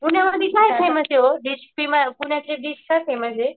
पुण्यामधी काय फेमसे वो पुण्यातली डिश काय फेमसे.